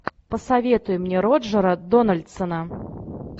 посоветуй мне роджера дональдсона